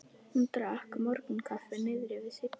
Hún drakk morgunkaffi niðri við Signu.